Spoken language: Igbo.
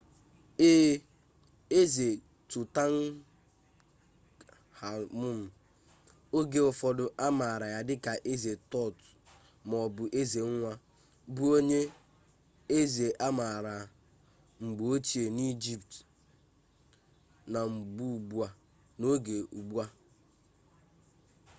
ee eze tutankhamun oge ụfọdụ amaara ya dịka eze tut maọbụ eze nwa bụ onye eze amaara mgbe ochie n'egypt n'oge ugbu a